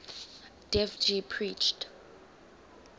dev ji preached